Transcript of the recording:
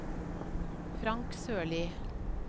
Frank Sørli